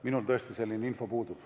Minul selline info puudub.